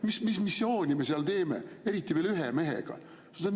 Mis missioonil me seal, eriti veel ühe mehega?